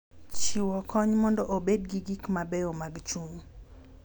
Chiwo kony mondo obed gi gik mabeyo mag chuny.